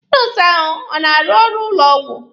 Nọọsụ ahụ ọ na-arụ n'ụlọ ọgwụ?